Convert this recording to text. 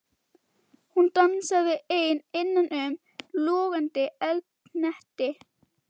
Hún dansaði ein innan um logandi eldhnetti.